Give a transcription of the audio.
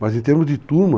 Mas em termos de turma,